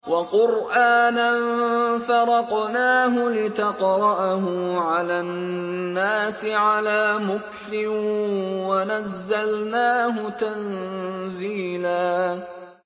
وَقُرْآنًا فَرَقْنَاهُ لِتَقْرَأَهُ عَلَى النَّاسِ عَلَىٰ مُكْثٍ وَنَزَّلْنَاهُ تَنزِيلًا